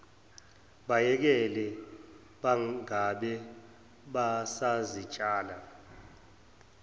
bayekele bangabe basazitshala